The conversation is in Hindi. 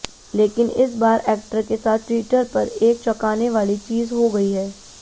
लेकिन इस बार एक्टर के साथ ट्विटर पर एक चौंकाने वाली चीज हो गई है